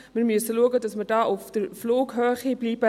Wir müssen schauen, dass wir auf Flughöhe bleiben: